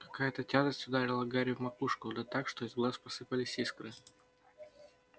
какая-то тяжесть ударила гарри в макушку да так что из глаз посыпались искры